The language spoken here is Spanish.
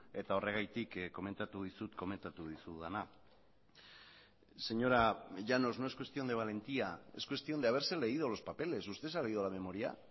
eta horregatik komentatu dizut komentatu dizudana señora llanos no es cuestión de valentía es cuestión de haberse leído los papeles usted se ha leído la memoria